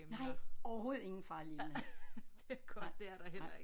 Nej overhovedet ingen farlige emner nej nej